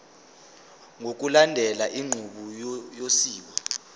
ngokulandela inqubo yosiko